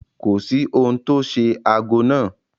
Kò sí ohun tó ṣe ago náà.